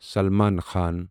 Salman Khan